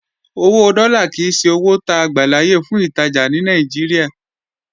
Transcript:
Owó dọ́là kìí ṣe owó ta gbàláyè fún ìtajà ní Nàìjíríà